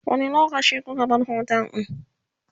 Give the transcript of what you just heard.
wani lokaci kuka bar otel ɗin?